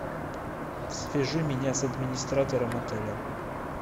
свяжи меня с администратором отеля